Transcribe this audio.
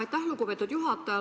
Aitäh, lugupeetud juhataja!